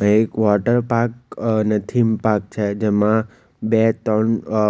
આ એક વોટરપાર્ક ને થીમ પાર્ક છે જેમાં બે તણ અ